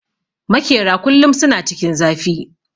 Makera kullum suna cikin zafi